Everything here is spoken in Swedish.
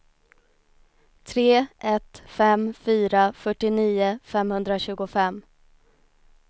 tre ett fem fyra fyrtionio femhundratjugofem